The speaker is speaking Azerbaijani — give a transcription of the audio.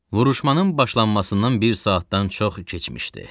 Vuruşmanın başlanmasından bir saatdan çox keçmişdi.